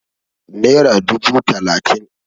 Nera dubu talatin